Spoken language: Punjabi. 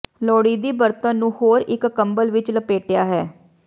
ਲੋੜੀਦੀ ਬਰਤਨ ਨੂੰ ਹੋਰ ਇੱਕ ਕੰਬਲ ਵਿੱਚ ਲਪੇਟਿਆ ਹੈ